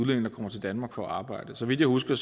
der kommer til danmark for at arbejde så vidt jeg husker